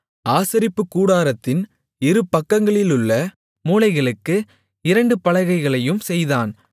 ஆசரிப்புக்கூடாரத்தின் இருபக்கங்களிலுள்ள மூலைகளுக்கு இரண்டு பலகைகளையும் செய்தான்